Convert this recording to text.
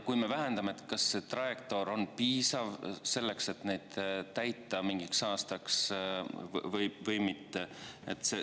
Kui me vähendame, siis kas see trajektoor on piisav selleks, et need mingiks aastaks täita, või mitte?